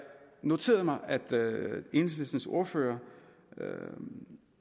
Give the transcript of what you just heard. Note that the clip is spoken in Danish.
noterede mig at enhedslistens ordfører